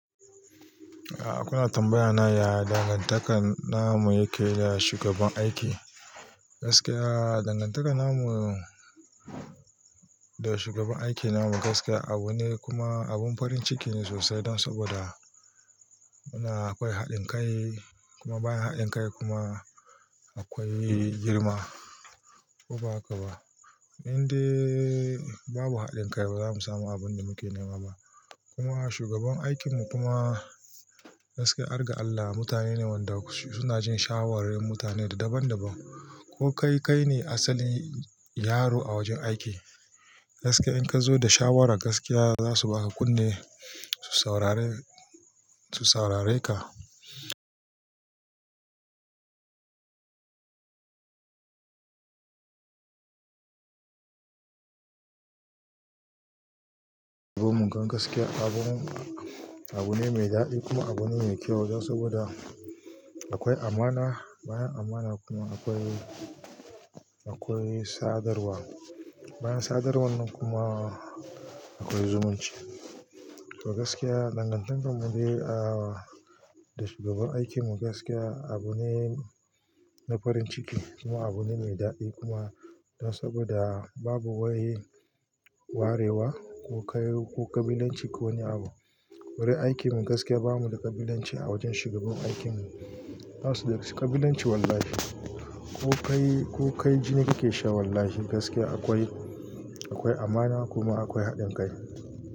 Ah, kuna tambaya na ya dangantakar namu yake da shugaban aiki. Gaskiya dangantakar namu da shugaban aiki namu gaskiya abu ne kuma abun farin ciki ne sosai don saboda muna akwai haɗin kai kuma bayan haɗin kai kuma akwai girma. Ko ba haka ba? Inde babu haɗin kai bazamu samu abun da muke nema ba. Kuma shugaban aikinmu kuma gaskiya har ga Allah mutane ne wanda suna jin shawarin mutane daban-daban. Ko kai kai ne asalin yaro a wajen aiki. Gaskiya in ka zo da shawara gaskiya zasu baka kunne su saurare, su saurare ka. Mun gan gaskiya abu, abu ne mai daɗi kuma abu ne mai kyau don saboda akwai amana, bayan amana kuma akwai, akwai sadarwa. Bayan sadarwar nan kuma akwai zumunci. To gaskiya dangantakarmu dai ah da shugaban aikinmu gaskiya abu ne na farin ciki kuma abu ne mai daɗi kuma don saboda babu wai warewa ko ƙabilanci ko wani abu. Wurin aikinmu gaskiya bamu da ƙabilanci a wajen shugaban aikinmu. Basuda ƙabilanci wallahi. Ko kai, ko kai jini kake sha wallahi gaskiya akwai, akwai amana kuma akwai haɗin kai.